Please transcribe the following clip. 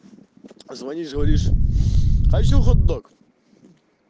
позвонишь говоришь хочу хот-дог